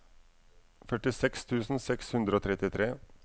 førtiseks tusen seks hundre og trettitre